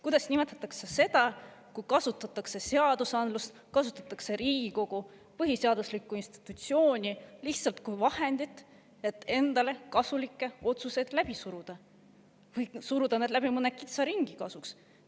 Kuidas nimetada seda, kui kasutatakse seadusandlust, kasutatakse Riigikogu, põhiseaduslikku institutsiooni lihtsalt kui vahendit, et endale kasulikke otsuseid läbi suruda, või suruda need läbi mõne kitsa ringi kasuks?